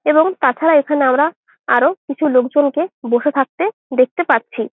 এবং তাছাড়া এখানে আমরা আরো কিছু লোকজনকে বসে থাকতে দেখতে পাচ্ছি।